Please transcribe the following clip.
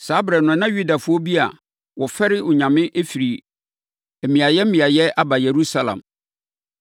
Saa ɛberɛ no na Yudafoɔ bi a wɔfɛre Onyame firi mmeaeɛ mmeaeɛ aba Yerusalem.